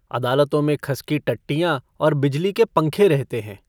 अदालतों में खस की टट्टियाँ और बिजली के पंखे रहते हैं।